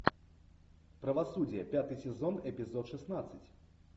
правосудие пятый сезон эпизод шестнадцать